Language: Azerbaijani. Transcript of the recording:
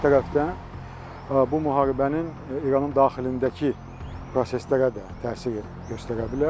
Digər tərəfdən bu müharibənin İranın daxilindəki proseslərə də təsir göstərə bilər.